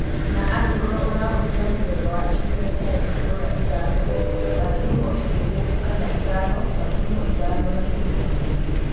Kana angĩkorwo ũrahũthĩra mũthemba wa intanenti ya explorer ithano gaturumo kĩfũgũ kana ithano gaturumo ithano gaturumo kĩfũgũ.